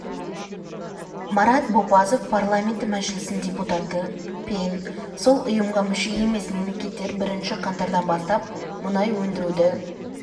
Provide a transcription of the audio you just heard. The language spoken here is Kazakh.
марат бопазов парламенті мәжілісінің депутаты пен сол ұйымға мүше емес мемлекеттер бірінші қаңтардан бастап мұнай өндіруді